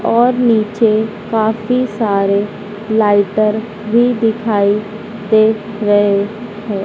और नीचे काफी सारे लाइटर भी दिखाई दे रहे है।